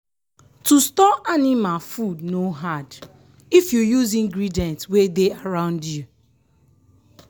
to store anima food no hard if you use ingredient wey dey around you.